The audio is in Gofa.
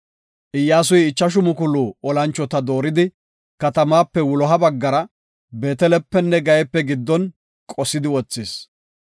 Iyyasuy ichashu mukulu olanchota dooridi, katamaape wuloha baggara, Beetelepenne Gayeepe giddon qosidi wothis.